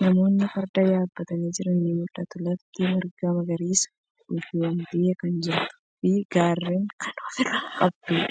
Namootni farda yaabbatanii jiran ni mul'atu. Lafti marga magariisan uwwifamtee kan jirtuu fi gaarren kan ofirraa qabduudha.